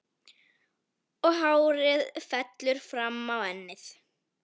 Og hárið fellur fram á ennið.